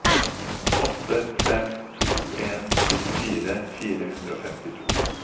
åtte fem to en syttifire fire hundre og femtito